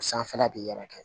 O sanfɛla bɛ yɛrɛkɛ